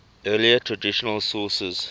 earlier traditional sources